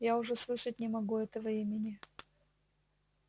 я уже слышать не могу этого имени